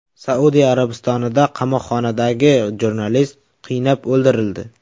Saudiya Arabistonida qamoqxonadagi jurnalist qiynab o‘ldirildi.